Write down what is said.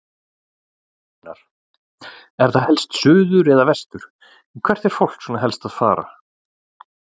Gunnar: Er það helst suður eða vestur, hvert er fólk svona helst að fara?